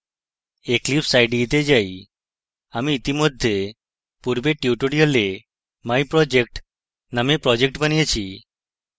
eclipse ide তে যাই আমি ইতিমধ্যে পূর্বের tutorial myproject named project বানিয়েছি